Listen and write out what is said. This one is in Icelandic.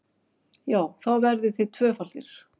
Já, þá verðið þið tvöfaldir!